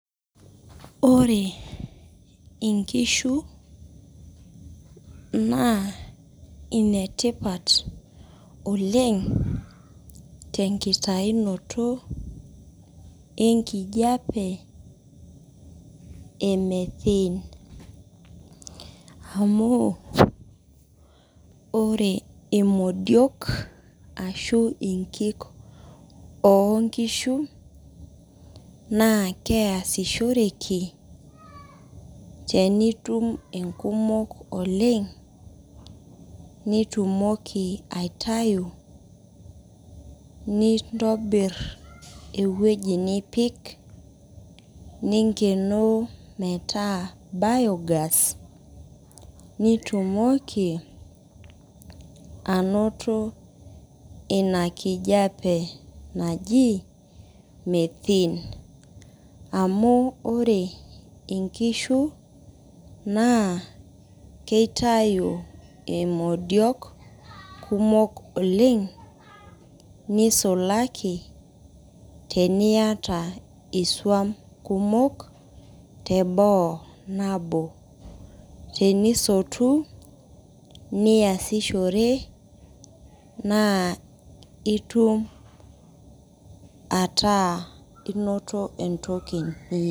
Ore nkishu naa inetipat oleng tenkutaunoto enkijiape e methene amu imodiok ashu nkik oonkishu naa keesishoreki enitum nkumok oleng nitumoki aitayu nintobirr ewueji nipik ningenoo metaa biogas nitumoki anoto ina kijiape naji methane amu Ore nkishu naa kitayu imodiok kumok oleng nisulaki teniata isuam kumok teboo nabo tenisotu niasishore naa itum ataa inoto entoki..